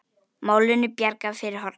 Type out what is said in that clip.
Málinu bjargað fyrir horn.